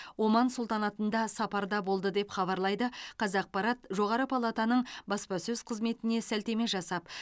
оман сұлтанатында сапарда болды деп хабарлайды қазақпарат жоғары палатаның баспасөз қызметіне сілтеме жасап